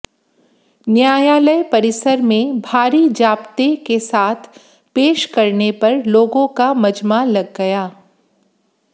न्यायालय परिसर में भारी जाप्ते के साथ पेश करने पर लोगों का मजमा लग गया